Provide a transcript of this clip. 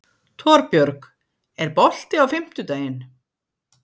Torbjörg, er bolti á fimmtudaginn?